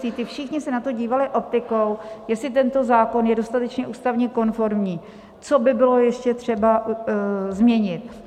Ti všichni se na to dívali optikou, jestli tento zákon je dostatečně ústavně konformní, co by bylo ještě třeba změnit.